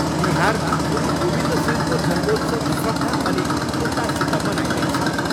बिहारमा गुरु गाविन्द सिंहजीको जन्मोत्सव श्रद्धा अनि उल्लाससित मनाइँदैछ।